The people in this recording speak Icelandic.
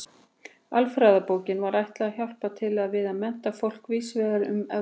Alfræðibókinni var ætlað að hjálpa til við að mennta fólk víðs vegar um Evrópu.